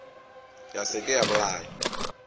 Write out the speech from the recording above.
ya se ke ya bolaya